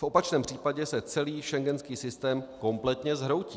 V opačném případě se celý schengenský systém kompletně zhroutí.